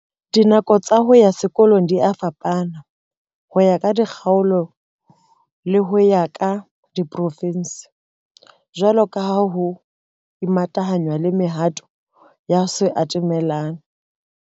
Dinako tsa ho ya sekolong dia fapana ho ya ka dikgaolo le ho ya ka diporofinse, jwalo ka ha ho imatahanngwa le mehato ya ho se atamelane.